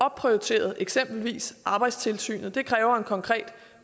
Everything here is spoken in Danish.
opprioriteret eksempelvis arbejdstilsynet det kræver en konkret